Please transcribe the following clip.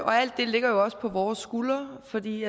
og alt det ligger jo også på vores skuldre fordi